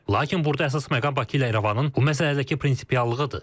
Lakin burda əsas məqam Bakı ilə İrəvanın bu məsələdəki prinsipiallığıdır.